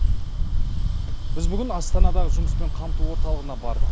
біз бүгін астанадағы жұмыспен қамту орталығына бардық